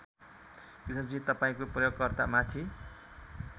कृष्णजी तपाईँको प्रयोगकर्ता माथि